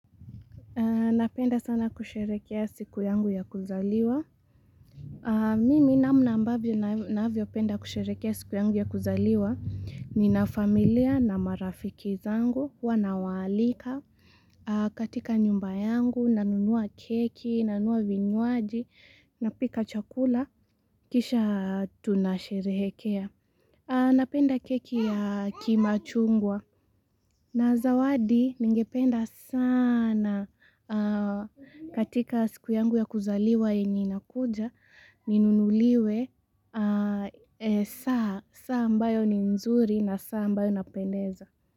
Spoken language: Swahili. Napenda sana kusherekea siku yangu ya kuzaliwa. Mimi na mna ambavyo napenda sana kusherekea siku yangu ya kuzaliwa ni na familia na marafiki zangu, huwa nawalika katika nyumba yangu, nanunua keki, nanunua vinyuaji, napika chakula, kisha tunasherekea. Napenda keki ya kimachungwa na zawadi ningependa saana katika siku yangu ya kuzaliwa yenye inanakuja, ninunuliwe saa ambayo ni mzuri na saa mbayo napendeza.